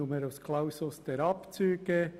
Es gibt den Numerus Clausus der Abzüge.